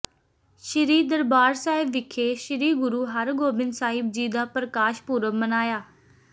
ਸ੍ਰੀ ਦਰਬਾਰ ਸਾਹਿਬ ਵਿਖੇ ਸ੍ਰੀ ਗੁਰੂ ਹਰਿਗੋਬਿੰਦ ਸਾਹਿਬ ਜੀ ਦਾ ਪ੍ਰਕਾਸ਼ ਪੁਰਬ ਮਨਾਇਆ